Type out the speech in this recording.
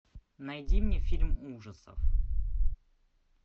найди мне фильм ужасов